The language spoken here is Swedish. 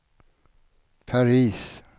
Paris